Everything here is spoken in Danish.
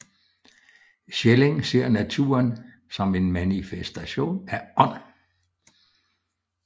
Schelling ser naturen som en manifestation af ånd